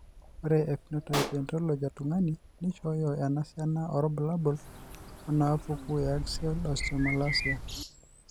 Ore ephenotype ontology etung'ani neishooyo enasiana oorbulabul onaapuku eAxial osteomalacia.